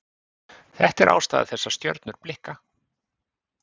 Þetta er ástæða þess að stjörnur blikka.